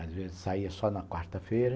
Às vezes saía só na quarta-feira.